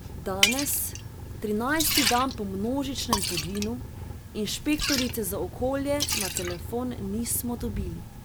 Danes, trinajsti dan po množičnem poginu, inšpektorice za okolje na telefon nismo dobili.